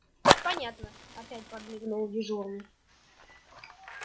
понятно опять подмигнул дежурный